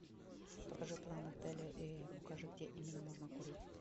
покажи план отеля и укажи где именно можно курить